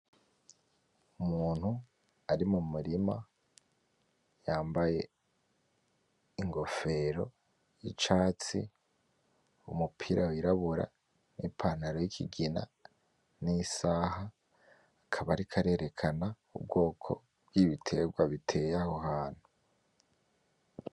Umuntu ari mumurima yambaye ingofero yicatsi umupira wirabura nipantaro yikigina nisaha akaba ariko arerekana ubwoko bwibitegwa biteye aho hantu